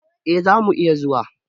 E, za mu iya zuwa.